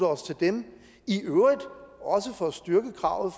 os til dem i øvrigt også for at styrke kravet